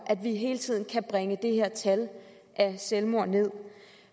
at vi hele tiden kan bringe antallet af selvmord nederst